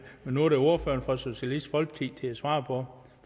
men nu er det ordføreren for socialistisk folkeparti til at svare på